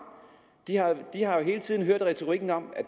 de har hele tiden hørt retorikken om at